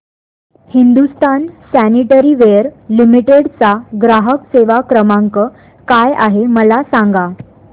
Hindustan sanitaryware limited चा ग्राहक सेवा क्रमांक काय आहे मला सांगा